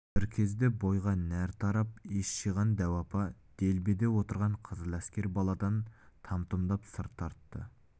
бір кезде бойға нәр тарап ес жиған дәу апа делбеде отырған қызыл әскер баладан там-тұмдатып сыр тартты